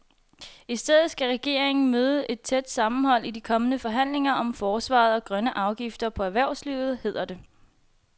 I stedet skal regeringen møde et tæt sammenhold i de kommende forhandlinger om forsvaret og grønne afgifter på erhvervslivet, hedder det.